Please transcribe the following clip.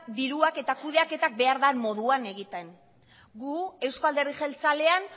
diruak eta kudeaketak behar den moduan egiten gu euzko alderdi jeltzalean